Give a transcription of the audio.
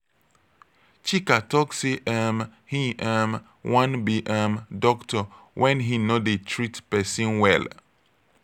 chika talk say um e um wan be um doctor wen he no dey treat person well.